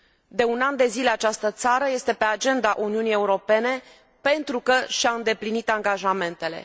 De un an de zile, această țară este pe agenda Uniunii Europene pentru că și a îndeplinit angajamentele.